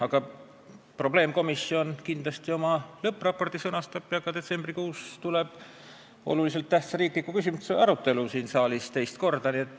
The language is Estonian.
Aga riigireformi probleemkomisjon kindlasti oma lõppraporti sõnastab ja detsembrikuus tuleb teema olulise tähtsusega riikliku küsimusena siin saalis teist korda arutusele.